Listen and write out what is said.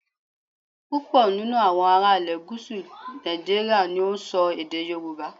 Púpọ̀ nínú àwọn ará ilè gúúsù Nàìjíríà ni ó n so èdè Yorùbá